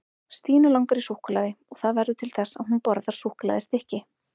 Stínu langar í súkkulaði og það verður til þess að hún borðar súkkulaðistykki.